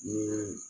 Ni